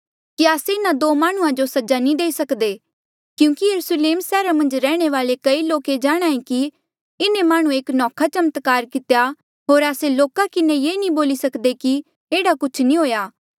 कि आस्से इन्हा दो माह्णुंआं जो सज़ा नी देई सक्दे क्यूंकि यरुस्लेम सैहरा मन्झ रैहणे वाले कई लोक ये जाणहां ऐें कि इन्हें माह्णुंऐ एक नौखा चमत्कार कितेया होर आस्से लोका किन्हें ये नी बोली सक्दे कि एह्ड़ा कुछ नी हुएआ